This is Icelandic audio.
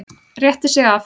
Rétti sig af.